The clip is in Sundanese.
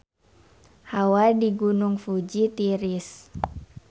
Hawa di Gunung Fuji tiris